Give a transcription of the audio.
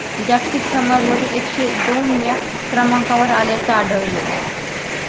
जागतिक क्रमरवर एकशे दोन वेळा क्रमांकावर आल्याचं आढळलंय